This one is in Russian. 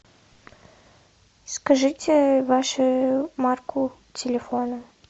скажите вашу марку телефона